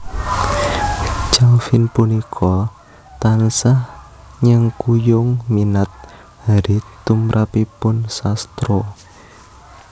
Calvin punika tansah nyengkuyung minat Harriet tumrapipun sastra